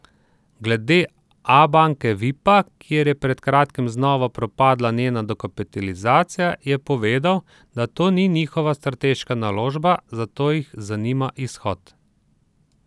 Glede Abanke Vipa, kjer je pred kratkim znova propadla njena dokapitalizacija, je povedal, da to ni njihova strateška naložba, zato jih zanima izhod.